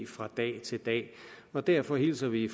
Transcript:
fra dag til dag derfor hilser vi